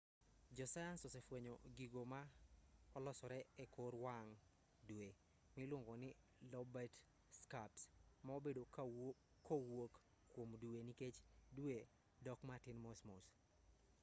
josayans osefwenyo gigo ma-olosore ekor wang' dwe miluongo ni lobate scarps ma-obedo kowuok kuom dwe nikech dwe dok matin mosmos